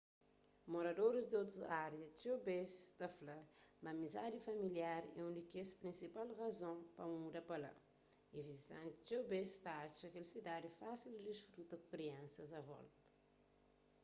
moradoris di otus árias txeu bês ta fla ma amizadi familiar é un di kes prinsipal razon pa muda pa la y vizitantis txeu bês ta atxa kel sidadi fásil di disfruta ku kriansas a volta